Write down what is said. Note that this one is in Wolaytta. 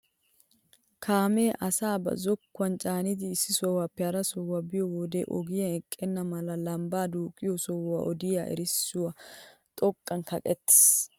Kaamee asaa ba zokkuwaan caanidi issi sohuwaappe hara sohuwaa biyoo wode ogiyaa eqqena mala lambbaa duqqiyoo sohuwaa odiyaa erissoy xoqqan kaqettiis!